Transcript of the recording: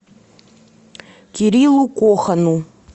кириллу кохану